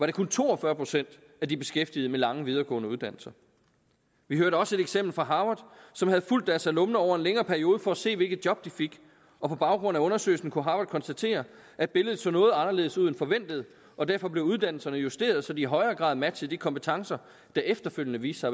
det kun to og fyrre procent af de beskæftigede med lange videregående uddannelser vi hørte også et eksempel fra harvard som havde fulgt deres alumner over en længere periode for at se hvilke job de fik og på baggrund af undersøgelsen kunne harvard konstatere at billedet så noget anderledes ud end forventet og derfor blev uddannelserne justeret så de i højere grad matchede de kompetencer der efterfølgende viste